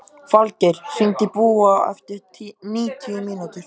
Falgeir, hringdu í Búa eftir níutíu mínútur.